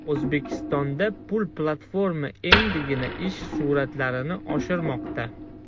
O‘zbekistonda bu platforma endigina ish sur’atlarini oshirmoqda.